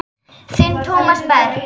Þinn Tómas Berg.